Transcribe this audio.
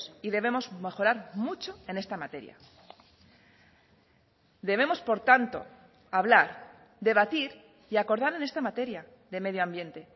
y debemos mejorar mucho en esta materia debemos por tanto hablar debatir y acordar en esta materia de medio ambiente